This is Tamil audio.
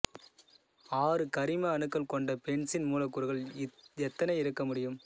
ஆறு கரிம அணுக்கள் கொண்ட பென்சீன் மூலக்கூறுகள் எத்தனை இருக்கமுடியும்